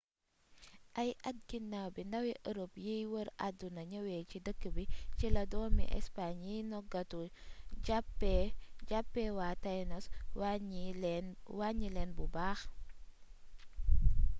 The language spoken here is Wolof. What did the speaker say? ay at ginaaw bi ndawi europe yiy wër àdduna ñëwee ci dëkk bi ci la doomi espagne yiy noggatu jàppee waa tainos wàññi leen bu baax